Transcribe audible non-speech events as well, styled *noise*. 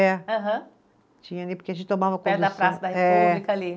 É. Aham. Tinha ali, porque a gente tomava. *unintelligible* Da Praça da República, ali.